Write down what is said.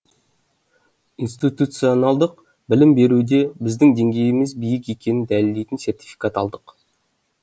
институционалдық білім беруде біздің деңгейіміз биік екенін дәлелдейтін сертификат алдық